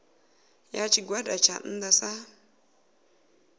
ya tshigwada tsha nnda sa